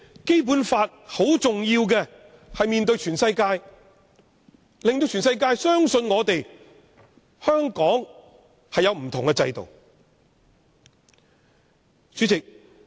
《基本法》十分重要，《基本法》面對全世界，令全世界相信香港有不同的制度。